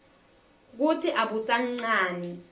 kutsi abusanqani